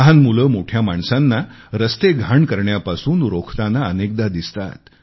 लहान मुले मोठ्या माणसांना रस्ते घाण करण्यापासून रोखताना अनेकदा दिसतात